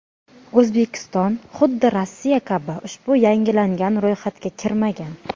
O‘zbekiston, xuddi Rossiya kabi ushbu yangilangan ro‘yxatga kirmagan.